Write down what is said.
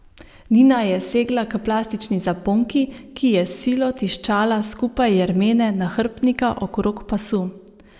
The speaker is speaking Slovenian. Nina je segla k plastični zaponki, ki je s silo tiščala skupaj jermene nahrbtnika okrog pasu.